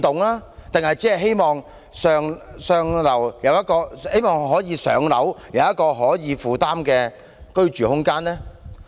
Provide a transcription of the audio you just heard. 還是只希望"上樓"有一個可負擔的居住空間？